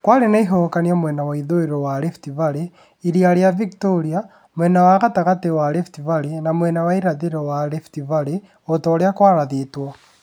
Kwari͂ na Ihuhu͂kanio mwena wa ithu͂i͂ro wa Rift Valley, iria ri͂a Victoria, mwena wa gatagati͂ wa Rift Valley na mwena wa irathi͂ro wa Rift Valley o ta u͂ri͂a kwarathi͂two.